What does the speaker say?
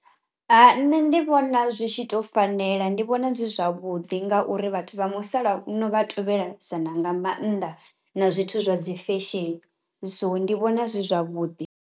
Ha nṋe ndi vhona zwi tshi to fanela ndi vhona zwi zwavhuḓi ngauri vhathu vha musalauno vha tovhelasana nga maanḓa na zwithu zwa dzi fesheni so ndi vhona zwi zwavhuḓi.